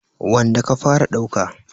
wanda ka fara ɗauka.